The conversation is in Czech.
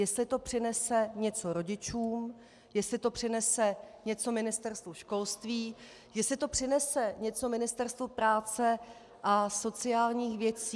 Jestli to přinese něco rodičům, jestli to přinese něco Ministerstvu školství, jestli to přinese něco Ministerstvu práce a sociálních věcí.